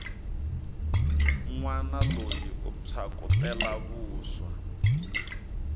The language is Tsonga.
nwana loyi u phyakutela vuswa